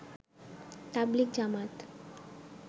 তাবলিগ জামাত